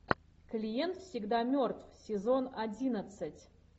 клиент всегда мертв сезон одиннадцать